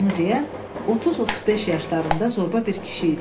Bunu deyən 30-35 yaşlarında zorba bir kişi idi.